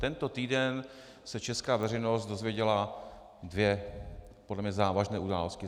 Tento týden se česká veřejnost dozvěděla dvě podle mne závažné události.